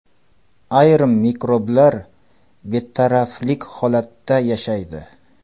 Ayrim mikroblar betaraflik holatida yashaydi.